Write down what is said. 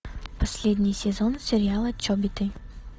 последний сезон сериала чобиты